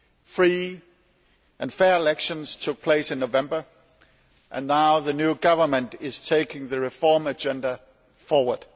Free and fair elections took place in November, and now the new government is taking the reform agenda forward.